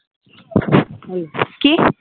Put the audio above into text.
কি